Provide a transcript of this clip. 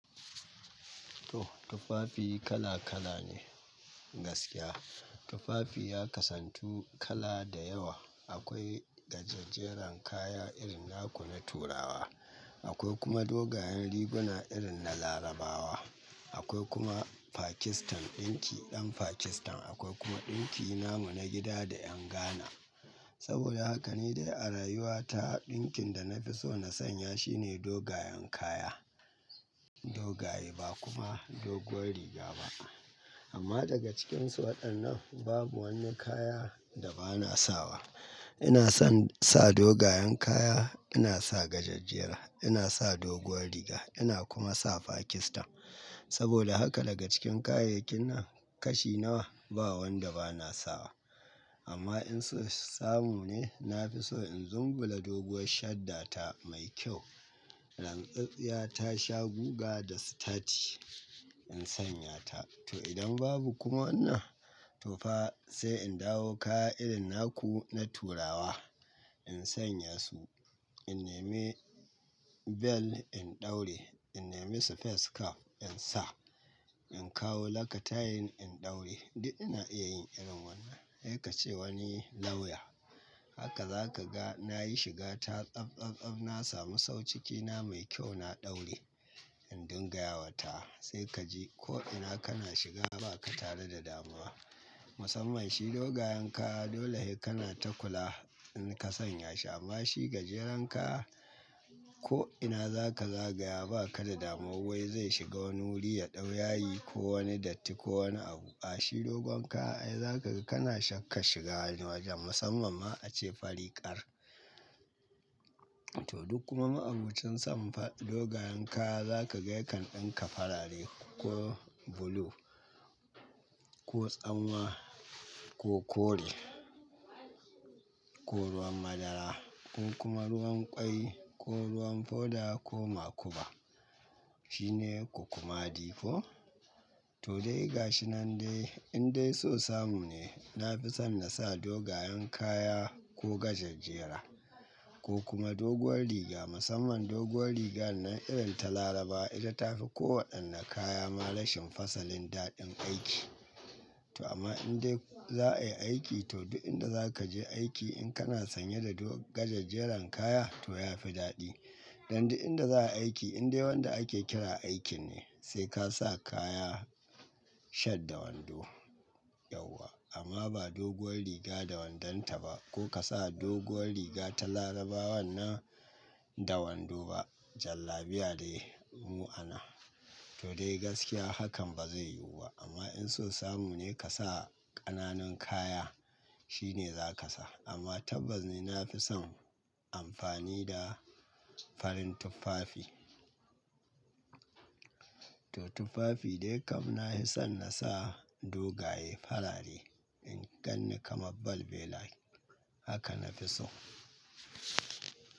To tuffafi kala kala ne gaskiya. Tufafi ya kasantu kala da yawa. Akoi gaje-jeren kaya irin naku na turawa, akoi kuma dogayen riguna irin na larabawa, akwai kuma pakistan ɗinki ɗan pakistan, akoi kuma ɗinki namu na gida da yan Ghana. Saboda haka ni dai a rayuwa ta ɗinkin da na fi so na sanya shine dogayan kaya. Dogaye ba kuma doguwar riga ba. Amma daga cikinsu waɗannan babu woni kaya da ba na sawa. Ina son sa dogayan kaya, ina sa gajej-jera, ina sa doguwar riga ina kuma sa pakistan. Saboda haka daga cikin kayayyakin nan kashi nawa ba wanda ba na sawa. Amma in so samu ne, na fi so in zumbul da doguwar shadda ta mai kyau, lam tse-tsiya ta sha guga da sitati in sanya ta. To idan babu kuma wannan to fa sai in dawo kaya irin naku na turawa in sanya su. In nemi bel in ɗaure, in nemi sipes cab in sa, in kawo laktayin in ɗaure. Duk ina iya yin irin wannan. Sai ka ce woni lawya. Haka za ka ga na yi shiga ta tsaf tsaf tsaf na samu sau ciki na mai kyau na ɗaure in dungaya wa ta wa. Sai ka ji ko'ina kana shiga ba ka tare da damuwa. Musamman shi dogayen kaya dole sai kana ta kula in ka sanya shi. Amma shi gajeren kaya ko'ina za ka zagaya ba ka da damuwa wai zai shiga woni wuri ya ɗau yayi ko woni datti ko woni abu. Ah dogon kaya ai za ka ga kana shakkan shiga wojen musamman ma ace fari ƙar. To duk kuma ma'abocin son dogayen kaya za ka ga yakan ɗinka farare ko bulu ko tsanwa ko kore ko ruwan madara ko kuma ruwan ƙwai ko ruwan foda ko makuba. Shine ku-kuma di ko. To dai gashi nan dai in dai so samu ne na fi son na sa dogayen kaya ko gajej-jera ko kuma doguwar riga musamman doguwar riga nan irin ta laraba ita ta fi ko waɗannan kaya ma rashin fasalin daɗin aiki. To amma in dai za a yi aiki to duk inda za ka je aiki in kana sanye da do gajej-jeran kaya to ya fi daɗi. Dan duk inda za a yi aiki in dai wanda ake kira aiki ne sai ka sa kaya she'd da wondo yauwa. Amma ba doguwar riga da wondanta ba ko ka sa doguwar riga ta larabawan nan da wando ba jallabiya dai mu'ana. To dai gaskiya hakan ba zai yuwuba. Amma in so samu ne ka sa ƙananun kaya shine za ka sa. Amma tabbas ne na fi son amfani da farin tuffafi. To tufafi dai kam na hi son na sa dogaye farare in gan ni kamar balbela haka na fi so.